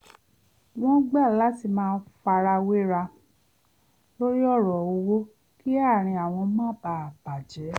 wọ́n gbà láti má farawéra lorí ọ̀rọ̀ owó kí àárín àwọn má bàa bà jẹ́